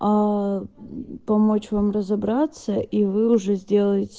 аа помочь вам разобраться и вы уже зделаете